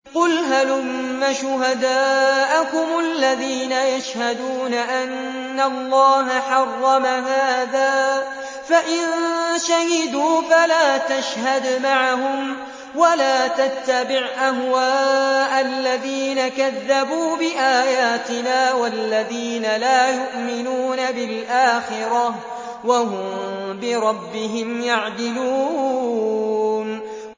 قُلْ هَلُمَّ شُهَدَاءَكُمُ الَّذِينَ يَشْهَدُونَ أَنَّ اللَّهَ حَرَّمَ هَٰذَا ۖ فَإِن شَهِدُوا فَلَا تَشْهَدْ مَعَهُمْ ۚ وَلَا تَتَّبِعْ أَهْوَاءَ الَّذِينَ كَذَّبُوا بِآيَاتِنَا وَالَّذِينَ لَا يُؤْمِنُونَ بِالْآخِرَةِ وَهُم بِرَبِّهِمْ يَعْدِلُونَ